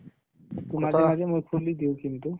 to মাজে মাজে মই খুলি দিও কিন্তু